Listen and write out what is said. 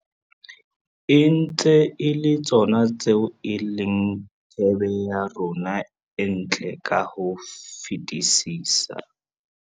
E ntse e le tsona tseo e leng thebe ya rona e ntle ka ho fetisisa.